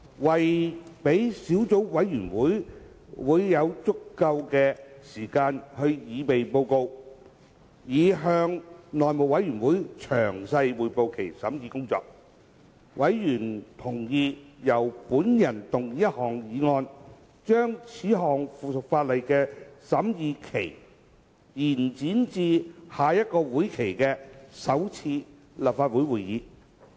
為了讓小組委員會有足夠時間擬備報告，以向內務委員會詳細匯報其審議工作，委員同意由本人動議一項議案，將此項附屬法例的審議期延展至下一會期的首次立法會會議。